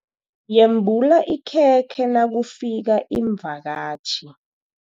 Yembula ikhekhe nakufika iimvakatjhi.